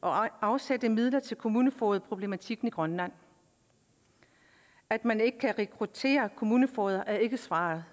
og afsætte midler til kommunefogedproblematikken i grønland at man ikke kan rekruttere kommunefogeder er ikke svaret